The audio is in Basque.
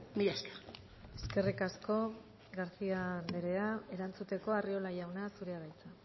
mila esker eskerrik asko garcía anderea erantzuteko arriola jauna zurea da hitza